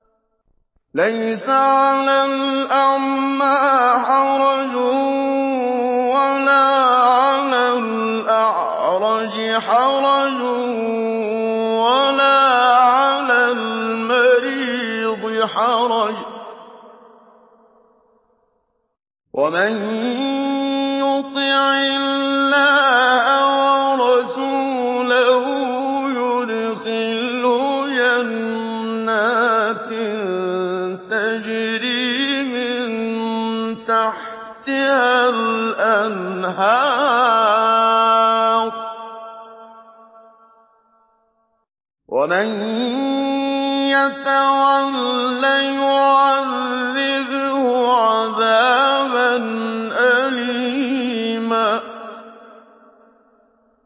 لَّيْسَ عَلَى الْأَعْمَىٰ حَرَجٌ وَلَا عَلَى الْأَعْرَجِ حَرَجٌ وَلَا عَلَى الْمَرِيضِ حَرَجٌ ۗ وَمَن يُطِعِ اللَّهَ وَرَسُولَهُ يُدْخِلْهُ جَنَّاتٍ تَجْرِي مِن تَحْتِهَا الْأَنْهَارُ ۖ وَمَن يَتَوَلَّ يُعَذِّبْهُ عَذَابًا أَلِيمًا